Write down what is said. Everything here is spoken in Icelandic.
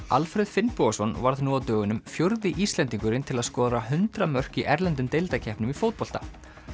Alfreð Finnbogason varð nú á dögunum fjórði Íslendingurinn til að skora hundrað mörk í erlendum deildakeppnum í fótbolta